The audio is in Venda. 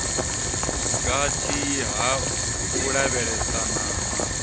gathi ha u lavhelesana na